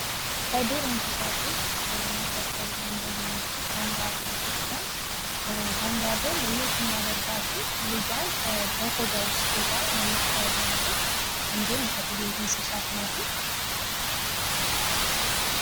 ከዱር እንስሳት ውስጥ መካከል አንድዋ የሆነችው ካንጋሮ ስትሆን፤ ካንጋሮ ለየት የሚያደርጋቸው ልጅዋን በቆዳዋ ውስጥ ይዛ የምትሄድ ናትኝ፤ እንዲሁም አጥቢ እንሰሳት ናትኝ።